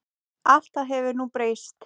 Allt það hefur nú breyst.